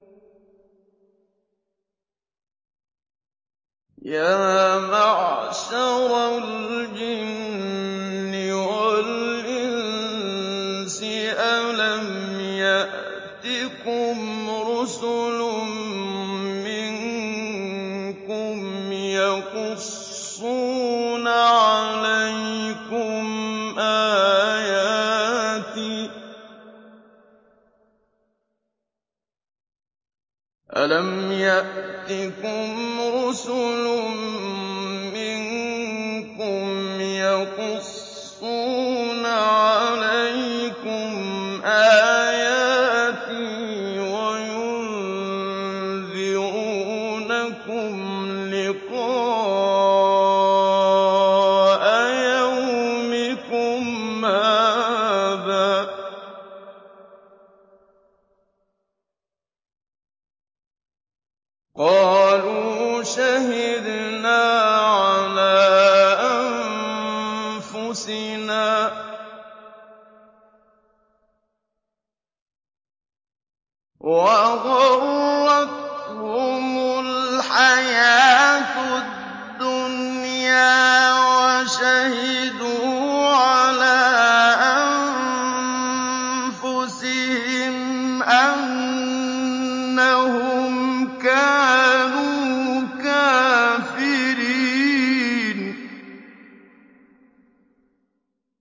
يَا مَعْشَرَ الْجِنِّ وَالْإِنسِ أَلَمْ يَأْتِكُمْ رُسُلٌ مِّنكُمْ يَقُصُّونَ عَلَيْكُمْ آيَاتِي وَيُنذِرُونَكُمْ لِقَاءَ يَوْمِكُمْ هَٰذَا ۚ قَالُوا شَهِدْنَا عَلَىٰ أَنفُسِنَا ۖ وَغَرَّتْهُمُ الْحَيَاةُ الدُّنْيَا وَشَهِدُوا عَلَىٰ أَنفُسِهِمْ أَنَّهُمْ كَانُوا كَافِرِينَ